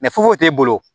t'e bolo